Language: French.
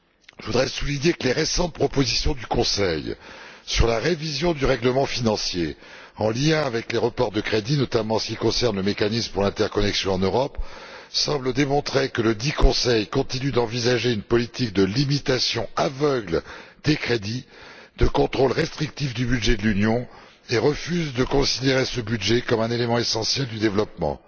Je voudrais souligner que les récentes propositions du Conseil sur la révision du règlement financier en lien avec les reports de crédits, notamment en ce qui concerne le mécanisme pour l'interconnexion en Europe, semblent démontrer que ledit Conseil continue d'envisager une politique de limitation aveugle des crédits et de contrôle restrictif du budget de l'Union, et refuse de considérer ce budget comme un élément essentiel du développement.